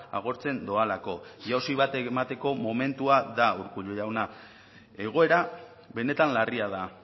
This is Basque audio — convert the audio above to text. agortzen doalako jausi bat emateko momentua da urkullu jauna egoera benetan larria da